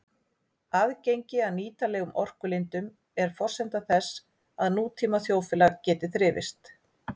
Aðgengi að nýtanlegum orkulindum er forsenda þess að nútíma þjóðfélag geti þrifist.